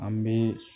An bɛ